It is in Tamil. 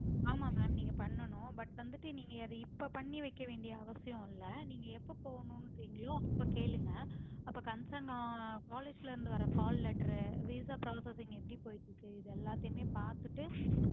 ஆமா mam நீங்க பண்ணனும் but வந்துட்டு நீங்க இப்போ பண்ணி வைக்க வேண்டிய அவசியம் இல்ல நீங்க எப்போ போகணும்க்ரிங்களோ அப்போ கேளுங்க அப்போ concern college ல இருந்து வர்ற call lettervisa processing எப்டி போயிட்டு இருக்கு எல்லாத்தையுமே பாத்துட்டு